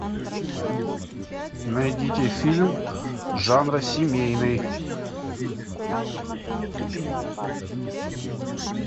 найдите фильм жанра семейный